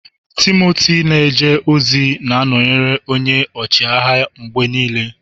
Timoti na-eje ozi na-anọnyere onye ọchịagha ya mgbe niile.